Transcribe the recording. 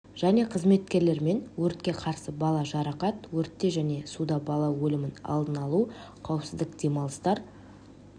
және қызметкерлермен өртке қарсы бала жарақат өртте және суда бала өлімін алдын алу қауіпсіз демалыстар